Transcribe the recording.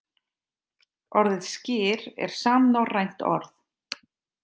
Orðið skyr er samnorrænt orð.